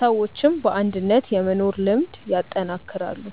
ሰዎችም በአንድነት የመኖር ልምድ ያጠናክራሉ።